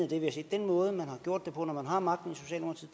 det vi har set den måde man har gjort det på når man har magten